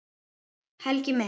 Helgi minn.